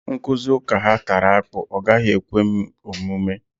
Nkụzi ụka ha tara akpụ, ọ gaghị ekwe m omume